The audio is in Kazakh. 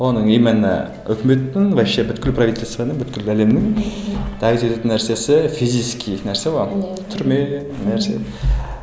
оның именно өкіметтің вообще бүкіл правительствоның бүкіл әлемнің давить ететін нәрсесі физический нәрсе ғой иә иә түрме нәрсе